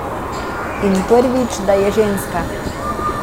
In prvič, da je ženska.